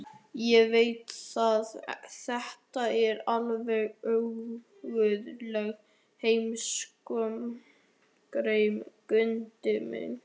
Ég veit að þetta er alveg óguðlegur heimsóknartími, Gutti minn.